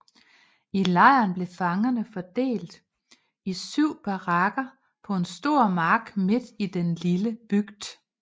I lejren blev fangerne fordelt i syv barakker på en stor mark midt i den lille bygd